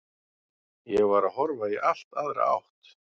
Ég var að horfa í allt aðra átt.